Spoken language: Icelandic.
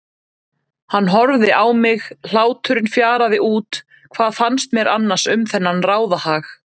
Hann horfði á mig, hláturinn fjaraði út, hvað fannst mér annars um þennan ráðahag?